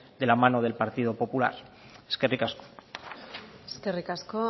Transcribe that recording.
de la mano del partido popular eskerrik asko eskerrik asko